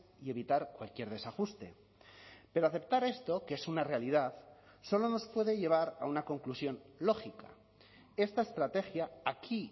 y evitar cualquier desajuste pero aceptar esto que es una realidad solo nos puede llevar a una conclusión lógica esta estrategia aquí